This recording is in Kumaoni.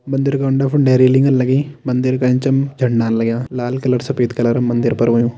मंदिर का उंडे फुंडे रैलिंग लगी मंदिर का एचम झंडा लग्यां लाल कलर सफ़ेद कलर मंदिर पर होयुं।